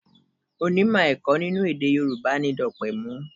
Onímọ̀ ẹ̀kọ́ nínú èdè Yorùbá ni Dopemu.